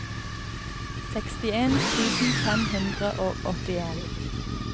sekstien tusen fem hundre og åttien